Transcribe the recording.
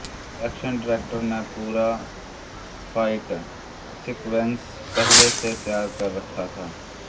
action director ने पूरा fight sequence पहले से तैयार कर रखा था